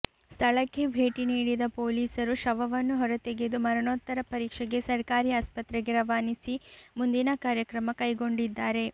ಸ್ಥಳಕ್ಕೆ ಭೇಟಿ ನೀಡಿದ ಪೊ ಲೀಸರು ಶವವನ್ನು ಹೊರತೆಗೆದು ಮರಣೋತ್ತರ ಪರೀಕ್ಷೆಗೆ ಸರ್ಕಾರಿ ಆಸ್ಪತ್ರೆಗೆ ರವಾನಿಸಿ ಮುಂದಿನ ಕ್ರಮ ಕೈಗೊಂಡಿದ್ದಾರೆ